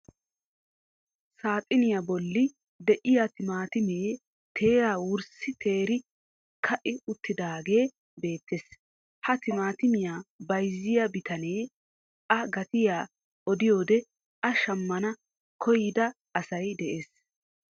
Saaxiniyaa bolli de'iyaa timaatimee teeraa wirssi teeri ka"i uttidaagee beettees. Ha timaatimiyaa bayzziyaa bitanee a gatiyaa odiyoode a shammana koyyida asay dees.